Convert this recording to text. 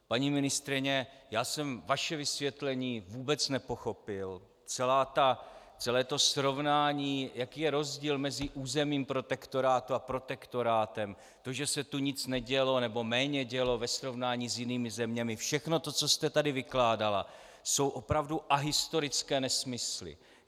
Paní ministryně, já jsem vaše vysvětlení vůbec nepochopil, celé to srovnání, jaký je rozdíl mezi územím protektorátu a protektorátem, to, že se tu nic nedělo, nebo méně dělo ve srovnání s jinými zeměmi, všechno to, co jste tady vykládala, jsou opravdu ahistorické nesmysly.